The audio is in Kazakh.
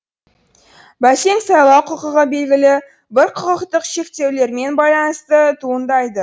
бәсең сайлау кұқығы белгілі бір құқықтық шектеулермен байланысты туындайды